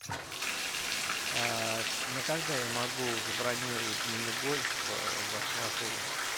на когда я могу забронировать мини гольф в вашем отеле